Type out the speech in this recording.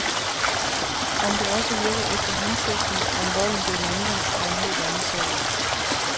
Om det også virker efter hensigten, om volden bliver mindre, er en helt anden sag.